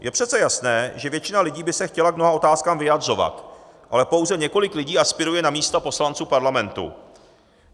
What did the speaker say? Je přece jasné, že většina lidí by se chtěla k mnoha otázkám vyjadřovat, ale pouze několik lidí aspiruje na místa poslanců parlamentu.